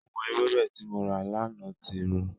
Àwọn ewébẹ̀ tí mo rà lánàá ti rọ.